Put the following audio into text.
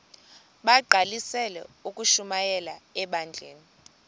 bagqalisele ukushumayela ebandleni